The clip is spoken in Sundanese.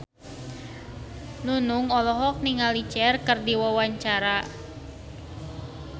Nunung olohok ningali Cher keur diwawancara